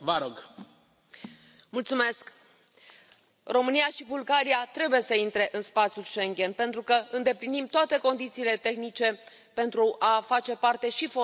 Domnule președinte, România și Bulgaria trebuie să intre în spațiul Schengen pentru că îndeplinim toate condițiile tehnice pentru a face parte, și formal, din acest spațiu.